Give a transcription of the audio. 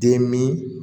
Den min